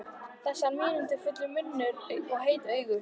Þessi munúðarfulli munnur og heitu augu.